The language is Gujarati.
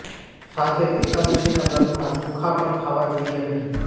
સાથે જ એકાદશીના વ્રતમાં ચોખા પણ ખાવા જોઈએ નહીં